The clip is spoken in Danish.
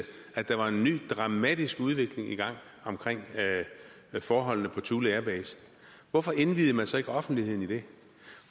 at der var en ny dramatisk udvikling i gang omkring forholdene på thule air base hvorfor indviede man så ikke offentligheden i det